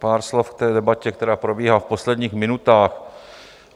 Pár slov k té debatě, která probíhá v posledních minutách.